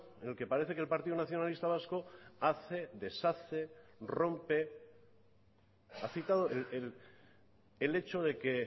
en el que parece que el partido nacionalista vasco hace deshace rompe ha citado el hecho de que